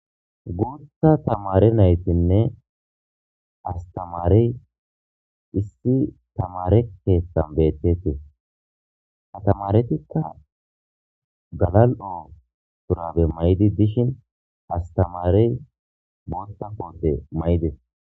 Guutha tamare naytinne astamarey timirte keethan beetetees. Ha tamaretika galal'o mayo mayidayta gidishin astamarey qasseka booththa koote mayidees.